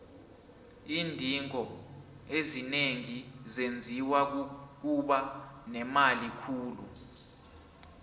iindingo ezinengi zenziwa kukuba nemali khulu